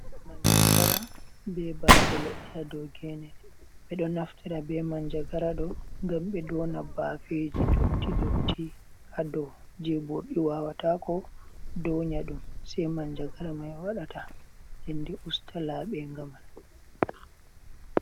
Manjagara ɓe bafe leɗɗi ha ɗow gene. Ɓe ɗo naftira ɓe manjagara ɗo ngam ɓe ɗona ɓafeji ɗotti ɗotti ha ɗow, je ɓurɗi wawatako ɗonyaɗum, sei manjagara mai waɗata. Nɗenɗe usta laɓenga man.